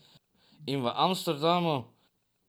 In v Amsterdamu?